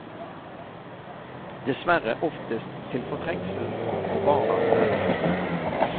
Dessverre oftest til fortrengsel for barnas beste.